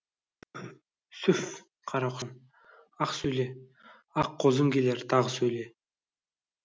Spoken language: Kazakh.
сүфф қара құсым ақ сөйле ақ қозым келер тағы сөйле